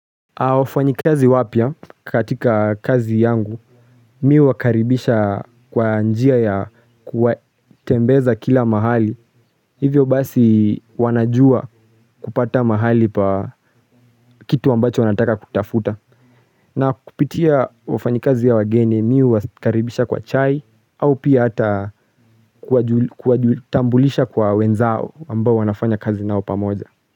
Wafanyi kazi wapya katika kazi yangu, mi huwakaribisha kwa njia ya kuwatembeza kila mahali, hivyo basi wanajua kupata mahali pa kitu ambacho wanataka kutafuta. Na kupitia wafanyi kazi ya wageni, mi hu wakaribisha kwa chai, au pia hata kuwatambulisha kwa wenzao ambao wanafanya kazi nao pamoja.